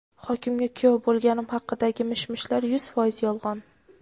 "Hokimga kuyov bo‘lganim haqidagi mish-mishlar yuz foiz yolg‘on".